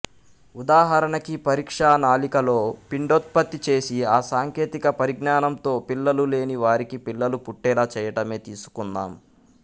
ఉదాహరణకి పరీక్ష నాళికలో పిండోత్పత్తి చేసి ఆ సాంకేతిక పరిజ్ఞానంతో పిల్లలు లేని వారికి పిల్లలు పుట్టేలా చెయ్యటమే తీసుకుందాం